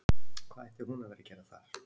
Hvað ætti hún að vera að gera þar?